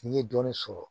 N'i ye dɔɔnin sɔrɔ